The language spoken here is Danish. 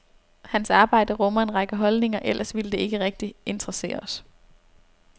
Hans arbejde rummer en række holdninger, ellers ville det ikke rigtig interessere os.